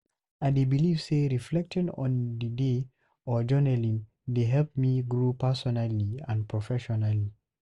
I dey believe say reflecting on the day or journaling dey help me grow personally and professionally.